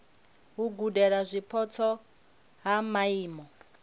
u gudela zwipotso ha maimo